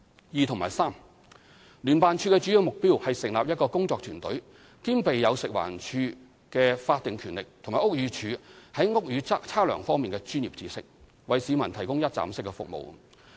二及三聯辦處的主要目標是成立一個工作團隊，兼備有食環署的法定權力和屋宇署在屋宇測量方面的專業知識，為市民提供一站式服務。